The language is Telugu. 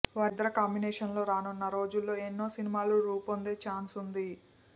వారిద్దరి కాంబినేషన్లో రానున్న రోజుల్లో ఎన్నో సినిమాలు రూపొందే ఛాన్సుంది